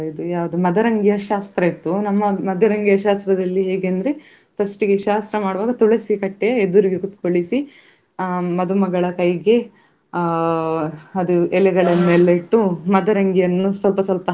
ಅದ್ರ ಬ~ ಆ ನಕ್ಷತ್ರಗಳು ಹಾಗೆ ಗ್ರಹಗಳ ಬಗ್ಗೆ ಅದ್ರ ಬಗ್ಗೆಯೂ ಮಾಹಿತಿ ಕೊಟ್ರು. ಆ ನಾವು ಪ್ರಾಣಿಸಂಗ್ರಹಾಲಯಂದ ಕೂಡ್ಲೇ ಅಲ್ಲಿ ಕ~ ಕೇವಲ ಪ್ರಾಣಿಗಳ ಬಗ್ಗೆ ಮಾತ್ರ ಅಲ್ಲ ಅಲ್ಲಿ ನಮ್ಗೆ ಇದ್ರ ಬಗ್ಗೆ ಸಹ ಅಲ್ಲಿ ಮಾಹಿತಿ ನಮ್ಗೆ ಕೊಟ್ಟಿದ್ರು ಅಲ್ಲಿ ಆ ಪ್ರಾಣಿಗಳ.